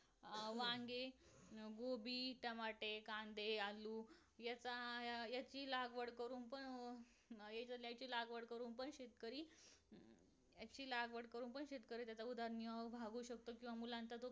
अं वांगे अं गोभी टमाटे कांदे आलू ह्याचा अं ह्याची लागवड करून पण अह ह्याची लागवड करून पण शेतकरी याची लागवड करून पण शेतकरी त्याचा उदरनिर्वाह करू शकतो किंवा मुलांचा तो